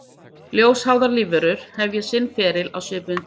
Ljósháðar lífverur hefja sinn feril á svipuðum tíma.